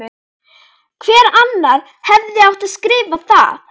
Hver annar hefði átt að skrifa það?